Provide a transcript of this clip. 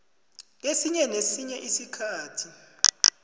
kesinye nesinye isikhathi